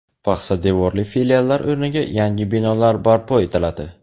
paxsa devorli filiallar o‘rniga yangi binolar barpo etiladi.